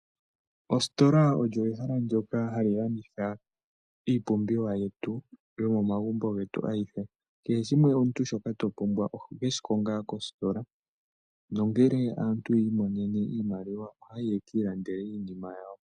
Ositola oyo ehala ndyoka hali landitha iipumbiwa yetu yomomagumbo getu ayihe. Kehe shimwe omuntu shoka topumbwa oho keshi konga kositola, nongele aantu yiimonene iimaliwa ohayayi yekiilandele iinima yawo.